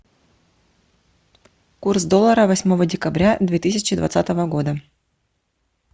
курс доллара восьмого декабря две тысячи двадцатого года